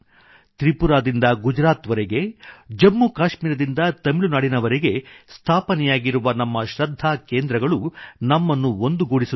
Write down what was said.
ತ್ರಿಪುರಾದಿಂದ ಗುಜರಾತ್ ವರೆಗೆ ಜಮ್ಮು ಕಾಶ್ಮೀರದಿಂದ ತಮಿಳುನಾಡಿನವರೆಗೆ ಸ್ಥಾಪನೆಯಾಗಿರುವ ನಮ್ಮ ಶೃದ್ಧಾ ಕೇಂದ್ರಗಳು ನಮ್ಮನ್ನು ಒಂದುಗೂಡಿಸುತ್ತವೆ